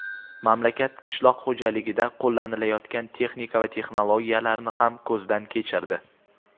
mamlakat qishloq xo‘jaligida qo‘llanilayotgan texnika va texnologiyalarni ham ko‘zdan kechirdi.